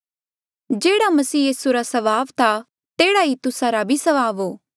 जेह्ड़ा मसीह यीसू रा स्वभाव था तेह्ड़ा ई तुस्सा रा स्वभाव भी हो